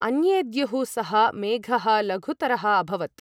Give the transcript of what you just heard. अन्येद्युः सः मेघःलघुतरः अभवत्!